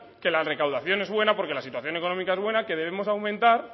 que la recaudación es buena porque la situación económica es buena que debemos aumentar